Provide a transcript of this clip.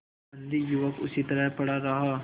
बंदी युवक उसी तरह पड़ा रहा